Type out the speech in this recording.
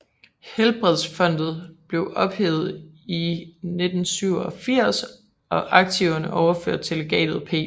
IHelbredelsesfondet blev ophævet i 1987 og aktiverne overført til Legatet P